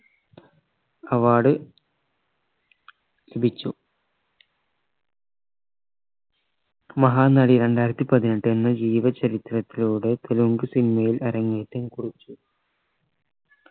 award ലഭിച്ചു മഹാനടി രണ്ടായിരത്തി പതിനെട്ട് എന്ന ജീവ ചരിത്രത്തിലൂടെ തെലുങ്ക് cinema യിൽ അരങ്ങേറ്റം കുറിച്ചു